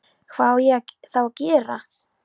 Hvað á ég þá að gera?